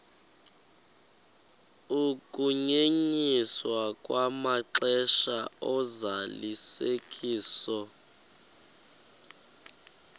ukunyenyiswa kwamaxesha ozalisekiso